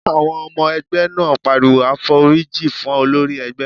Àwọn ọmọ ẹgbẹ́ náà pariwo "àforíjì fún olórí ẹgbẹ́!"